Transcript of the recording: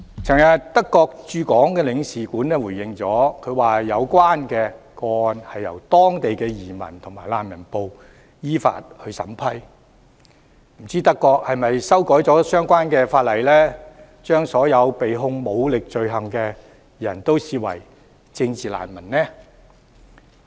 昨天德國駐港領事館回應指有關個案由當地的移民及難民部門依法審批，不知道德國是否修改了相關法例，把所有被控武力罪行的人視為政治難民呢？